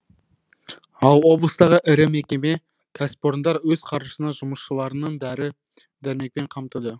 ал облыстағы ірі мекеме кәсіпорындар өз қаржысына жұмысшыларының дәрі дәрмекпен қамтыды